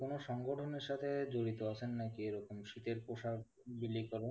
আপনি কোন সংগঠনের সাথে জড়িত আছেন না কি? এ রকম শীতের পোষাক বিলি করা?